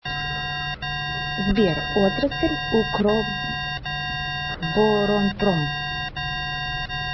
сбер отрасль укроборонпром